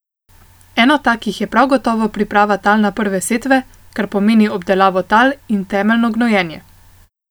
Eno takih je prav gotovo priprava tal na prve setve, kar pomeni obdelavo tal in temeljno gnojenje.